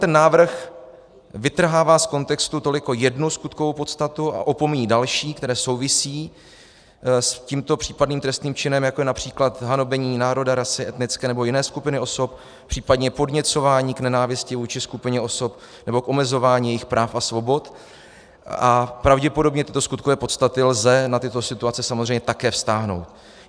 Ten návrh vytrhává z kontextu toliko jednu skutkovou podstatu a opomíjí další, které souvisejí s tímto případným trestným činem, jako je například hanobení národa, rasy, etnické nebo jiné skupiny osob, případně podněcování k nenávisti vůči skupině osob nebo k omezování jejich práv a svobod, a pravděpodobně tyto skutkové podstaty lze na tyto situace samozřejmě také vztáhnout.